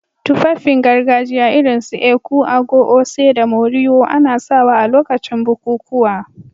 Tufafin gargajiya irin su èkú/agọ̀, oṣé, da môriwò ana sawa a lokacin bukukuwa